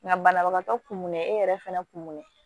Nka banabagatɔ kunnen e yɛrɛ fɛnɛ kun ne ye